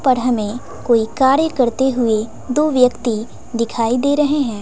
पर हमें कोई कार्य करते हुए दो व्यक्ति दिखाई दे रहे हैं।